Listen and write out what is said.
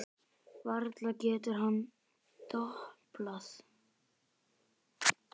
Varla getur hann doblað.